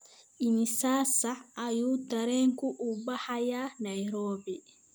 Imisa saac ayuu tareenku u baxayaa Nairobi?